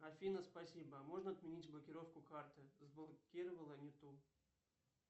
афина спасибо можно отменить блокировку карты заблокировала не ту